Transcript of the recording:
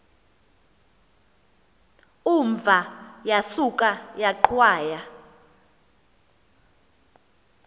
umva yasuka yaqhwaya